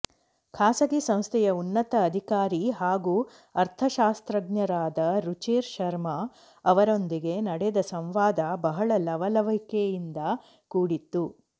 ಖಾಸಗಿ ಸಂಸ್ಥೆಯ ಉನ್ನತ ಅಧಿಕಾರಿ ಹಾಗೂ ಅರ್ಥಶಾಸ್ತ್ರಜ್ಞರಾದ ರುಚಿರ್ ಶರ್ಮಾ ಅವರೊಂದಿಗೆ ನಡೆದ ಸಂವಾದ ಬಹಳ ಲವಲವಿಕೆಯಿಂದ ಕೂಡಿತ್ತು